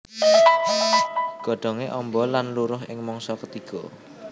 Godhongé amba lan luruh ing mangsa ketiga